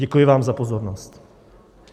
Děkuji vám za pozornost.